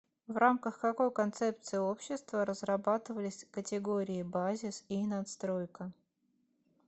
в рамках какой концепции общества разрабатывались категории базис и надстройка